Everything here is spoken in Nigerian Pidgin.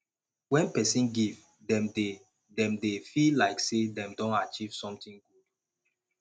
when person give dem dey dem dey feel like sey dem don achieve something good